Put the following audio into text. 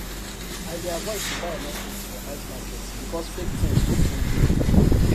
i dey avoid to buy electronics for night market because fake things too full there